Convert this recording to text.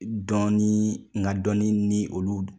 Dɔnni n ka dɔnni ni olu